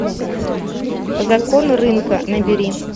закон рынка набери